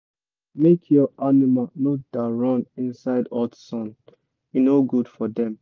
make your animal no da run inside hot sun e no good for dem